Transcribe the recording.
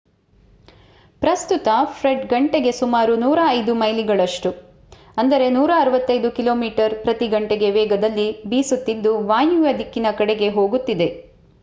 ಪ್ರಸ್ತುತ ಫ್ರೆಡ್ ಗಂಟೆಗೆ ಸುಮಾರು105 ಮೈಲಿಗಳಷ್ಟು 165 ಕಿಮಿ/ಗಂ ವೇಗದಲ್ಲಿ ಬೀಸುತ್ತಿದ್ದು ವಾಯುವ್ಯ ದಿಕ್ಕಿನ ಕಡೆಗೆ ಹೋಗುತ್ತಿದೆ